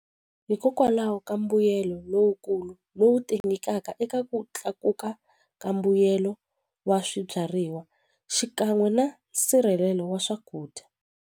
Hikokwalaho ka mbuyelo lowukulu lowu ti nyikaka eka ku tlakuka ka mbuyelo wa swibyariwa xikan'we na nsirhelelo wa swakudya.